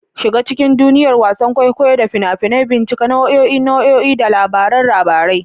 Shiga cikin duniyar wasan kwaikwayo da fina-finai, bincika nau'o'in nau'o'i da labaran labarai.